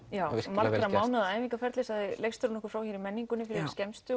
margra mánaða æfingaferli sagði leikstjórinn okkur frá hér í menningunni fyrir skemmstu